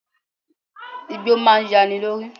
Igbó máa yani lórí.